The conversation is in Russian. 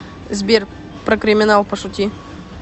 сбер про криминал пошути